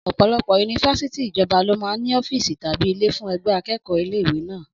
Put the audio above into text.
Ọ̀pọ̀lọpọ̀ yunifásítì ìjọba lọ máa ń ní Ọ́fíìsì tàbí ilé fún ẹgbẹ́ akẹ́kọ̀ọ́ ilé ìwé náà